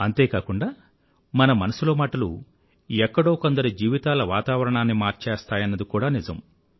అంతే కాకుండా మన మనసులో మాటలు ఎక్కడో కొందరి జీవితాల వాతావరణాన్ని కూడా మార్చేస్తాయన్నది కూడా నిజం